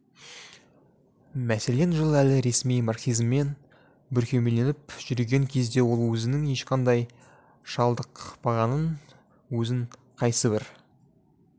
мәселен жылы әлі ресми марксизммен бүркемеленіп жүрген кезде ол өзінің ешқандай шалдықпағанын өзін қайсыбір